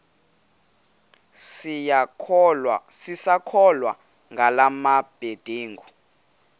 sisakholwa ngala mabedengu